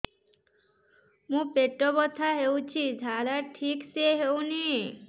ମୋ ପେଟ ବଥା ହୋଉଛି ଝାଡା ଠିକ ସେ ହେଉନି